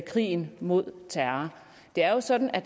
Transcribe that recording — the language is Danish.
krigen mod terror det er jo sådan at